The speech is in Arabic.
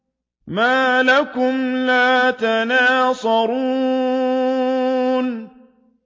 مَا لَكُمْ لَا تَنَاصَرُونَ